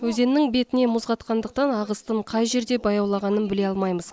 өзеннің бетіне мұз қатқандықтан ағыстың қай жерде баяулағанын біле алмаймыз